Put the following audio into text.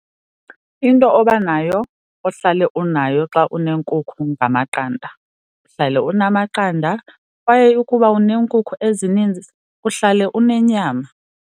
Into obanayo, ohlale unayo xa uneenkukhu ngamaqanda. Uhlale unamaqanda kwaye ukuba uneenkukhu ezininzi uhlale unenyama.